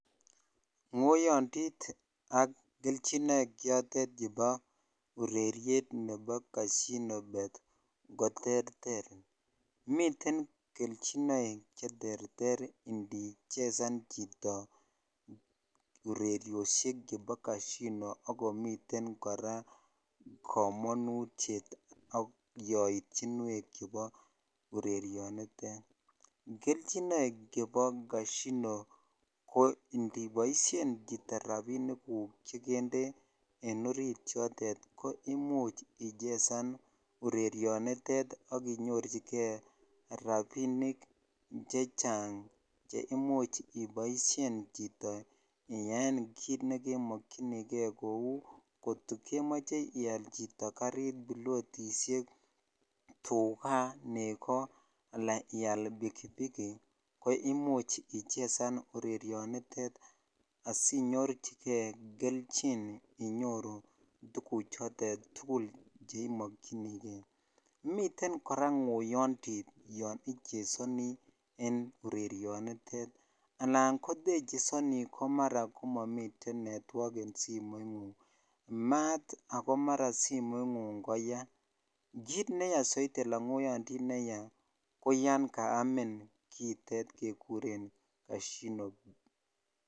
Ng'oyondit ak kelchinoik chotet chebo ureriet ne bo casino bett koterter, miten kelchinoik cheterter ndichesan chito ureriosiek chebo casino akomiten kora kamanutiet ak yaityinwek chebo urerionitet, kelchinoik chebo casino ko ndiboisien chito rapinikuk chekende en orit chotet ko imuch ichesan urerionitet akinyorchike rapinik chechang cheimuch iboisien chito iyaen kit nekemokyini gee kou kotokemoche ial chito karit, pilotisiek, tukaa, nego ala ial pikipiki ko imuch ichezan urerionitet asinyorchike kelchin inyoru tuguchotet tugul cheimokyinigee, miten kora ng'oyondit yon ichezani en urerionitet anan kotechezoni komara momiten network en simoing'ung maat akomara simoing'ung koyaa kit neyaa saidi alan ng'oyondit neyaa koyan kaamin kiitet kekuren casino.